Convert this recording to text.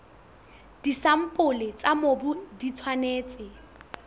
disampole tsa mobu di tshwanetse